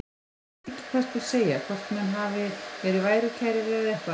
Ég veit ekki hvað skal segja, hvort menn hafi verið værukærir eða eitthvað.